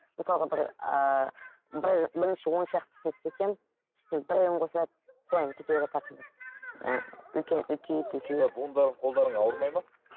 мысалға бір ыыы бір бірінші оншақтысын істесең үстіне бір қосылады содан кете береді ақырындап ііі үлкейіп үлкейіп сонда буындарың қолдарың ауырмайды ма